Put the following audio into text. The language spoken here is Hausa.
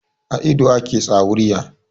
A ido ake tsawurya.